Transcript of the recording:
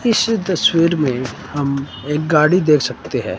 इस तस्वीर में हम एक गाड़ी देख सकते हैं।